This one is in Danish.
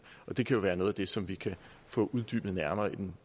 men det kan jo være noget af det som vi kan få uddybet nærmere i den